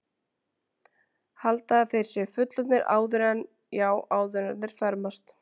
Halda að þeir séu fullorðnir áður en, já, áður en þeir fermast.